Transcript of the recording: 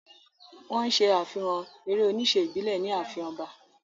Wọ́n ṣe àfihàn eré-oníṣe ìbílẹ̀ ní ààfin ọba.